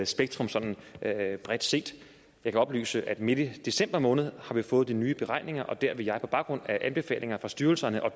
spektrum sådan bredt set jeg kan oplyse at midt i december måned har vi fået de nye beregninger og der vil jeg på baggrund af anbefalinger fra styrelserne og